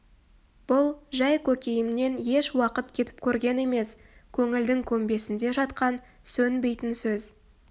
бұл жай көкейімнен еш уақыт кетіп көрген емес көңілдің көмбесінде жатқан сөнбейтін сөз